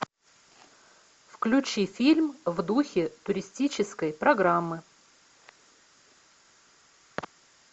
включи фильм в духе туристической программы